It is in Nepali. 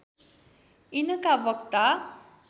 यिनका वक्ता